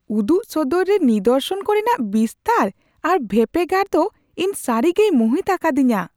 ᱩᱫᱩᱜ ᱥᱚᱫᱚᱨ ᱨᱮ ᱱᱤᱫᱚᱨᱥᱚᱱ ᱠᱚᱨᱮᱱᱟᱜ ᱵᱤᱥᱛᱟᱹᱨ ᱟᱨ ᱵᱷᱮᱯᱮᱜᱟᱨ ᱫᱚ ᱤᱧ ᱥᱟᱹᱨᱤᱜᱮᱭ ᱢᱩᱦᱤᱛ ᱟᱠᱟᱫᱤᱧᱟ ᱾